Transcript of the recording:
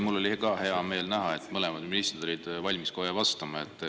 Mul oli ka hea meel näha, et mõlemad ministrid olid valmis kohe vastama.